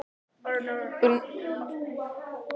Brúnt hörund þeirra skar sig úr fölleitri fólksmergðinni.